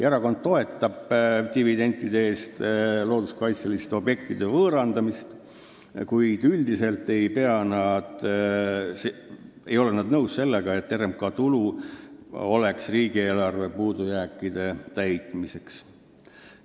Erakond toetab looduskaitseliste objektide võõrandamist dividendide eest, kuid ei ole üldiselt nõus sellega, et RMK tulu on mõeldud riigieelarve puudujääkide täitmiseks.